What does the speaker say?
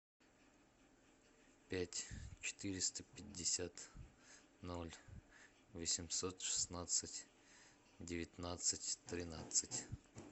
пять четыреста пятьдесят ноль восемьсот шестнадцать девятнадцать тринадцать